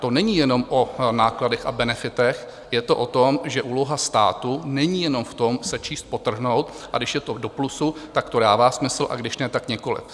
To není jenom o nákladech a benefitech, je to o tom, že úloha státu není jenom v tom, sečíst a podtrhnout, a když je to do plusu, tak to dává smysl, a když ne, tak nikoliv.